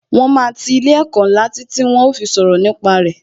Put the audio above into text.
Wọn máa ti ilé ẹ̀kọ́ ńlá títí tí wón ó fi sọ̀rọ̀ nípa re